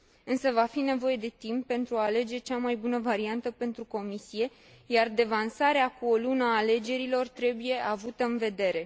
Însă va fi nevoie de timp pentru a alege cea mai bună variantă pentru Comisie, iar devansarea cu o lună a alegerilor trebuie avută în vedere.